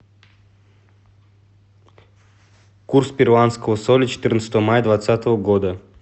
курс перуанского соля четырнадцатого мая двадцатого года